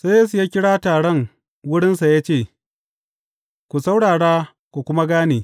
Sai Yesu ya kira taron wurinsa ya ce, Ku saurara ku kuma gane.